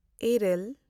ᱤᱨᱟᱹᱞ